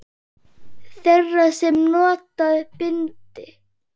Þeirra sem nota bindi?